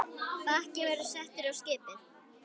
Bakki verður settur á skipið.